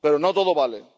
Pero no todo vale.